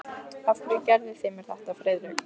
Af hverju gerðuð þið mér þetta, Friðrik?